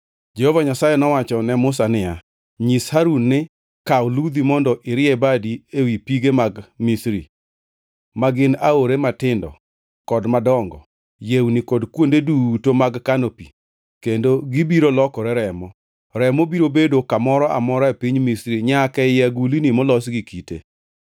Jehova Nyasaye nowacho ne Musa niya, “Nyis Harun ni, ‘Kaw ludhi mondo irie badi ewi pige mag Misri, ma gin aore matindo kod madongo, yewni kod kuonde duto mag kano pi, kendo gibiro lokore remo.’ Remo biro bedo kamoro amora e piny Misri nyaka ei agulni molos gi kite.”